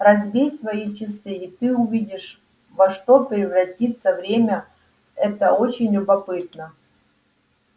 разбей свои часы и ты увидишь во что превратится время это очень любопытно